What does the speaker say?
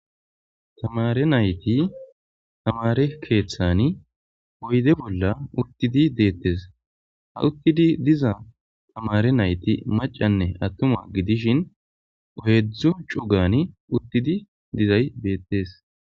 Tamare nayti tamare keeththani oyde bolla uttidi deettes ha uttidi diza tamare nayti macanne attuma gidishin ohedzdzo cugani uttidi dizay beettes.